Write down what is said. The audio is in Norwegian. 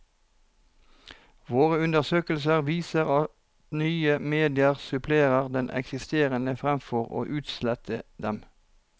Våre undersøkelser viser at nye medier supplerer de eksisterende fremfor å utslette dem.